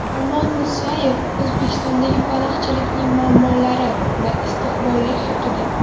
Omon Musayev O‘zbekistondagi baliqchilikning muammolari va istiqbollari haqida.